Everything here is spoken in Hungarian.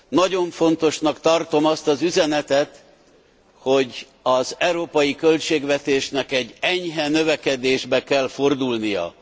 Nagyon fontosnak tartom azt az üzenetet, hogy az európai költségvetésnek egy enyhe növekedésbe kell fordulnia.